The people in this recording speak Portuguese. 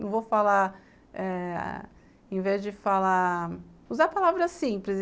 Não vou falar eh... Em vez de falar... Usar palavras simples.